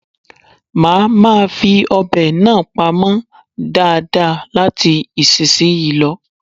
Mà máa fi ọ̀bẹ náà pamọ́ dáadáa láti ìsinsìnyí lọ.